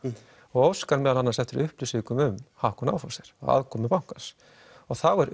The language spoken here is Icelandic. óskar meðal annars eftir upplýsingum um Hauck og Aufhäuser að aðkomu bankans þá er